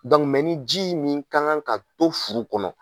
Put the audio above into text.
ni ji nin kan kan ka to furu kɔnɔ.